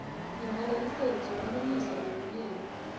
nemalayisensi kulungisa tekulima